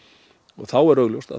þá er augljóst að